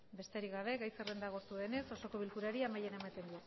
besterik gabe gai zerrenda agortu denez osoko bilkurari amaiera ematen